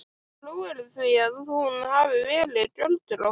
Trúirðu því að hún hafi verið göldrótt.